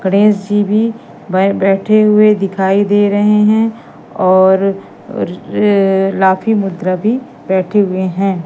गणेश जी भी बै बैठे हुए दिखाई दे रहे हैं और र लाफी मुद्रा भी बैठे हुए हैं।